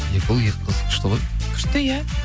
екі ұл екі қыз күшті ғой күшті иә